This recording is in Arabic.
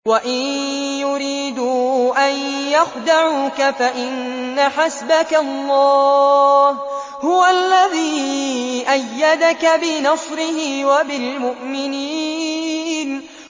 وَإِن يُرِيدُوا أَن يَخْدَعُوكَ فَإِنَّ حَسْبَكَ اللَّهُ ۚ هُوَ الَّذِي أَيَّدَكَ بِنَصْرِهِ وَبِالْمُؤْمِنِينَ